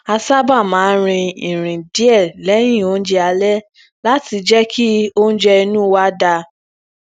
a sábà máa ń rin irin díẹ léyìn oúnjẹ alẹ láti jẹ kí oúnjẹ inu wa da